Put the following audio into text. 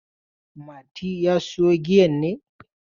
Mati ya sayo giyan ne?